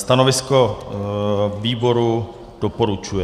Stanovisko výboru - doporučuje.